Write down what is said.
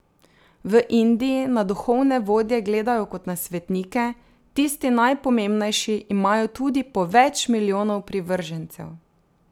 V Indiji na duhovne vodje gledajo kot na svetnike, tisti najpomembnejši imajo tudi po več milijonov privržencev.